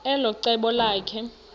elo cebo lakhe